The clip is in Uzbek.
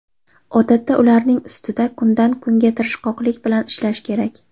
Odatda ularning ustida kundan-kunga tirishqoqlik bilan ishlash kerak.